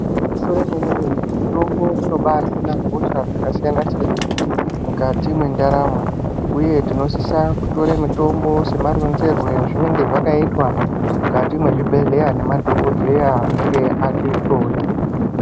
Igwinyiso remwene-mene mitombo inobahina hosha dzakasiyana-siyana mukati mendaramo. uye tinosisa kutore mitombo semaronzerwe azvinonga zvakaitwa mukati mwezvibhedhleya nemadhogodheya anenge atihloya.